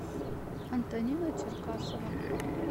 антонина черкасова